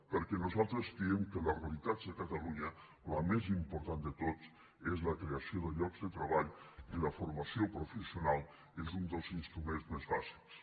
perquè nosaltres creiem que de les realitats de catalunya la més important de totes és la creació de llocs de treball i la formació professional és un dels instruments més bàsics